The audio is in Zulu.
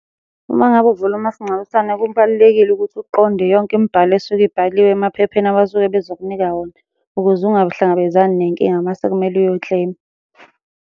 Uma ngabe uvula umasingcwabisane kubalulekile ukuthi uqonde yonke imibhalo esuke ibhaliwe emaphepheni abasuke bezokunika wona ukuze ungahlangabezani nenkinga mase kumele uyo-claim-a.